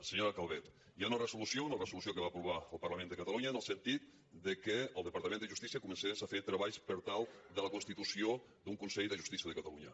senyora calvet hi ha una resolució una resolució que va aprovar el parlament de catalunya en el sentit que el departament de justícia comencés a fer treballs per a la constitució d’un consell de justícia de catalunya